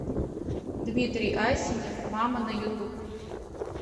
дмитрий асенев мама на ютуб